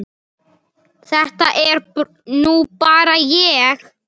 Þetta er nú bara ég!